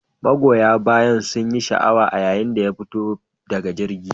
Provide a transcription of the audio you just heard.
Magoyan bayan sunyi sha'awa a yayin da ya fito daga jirgin.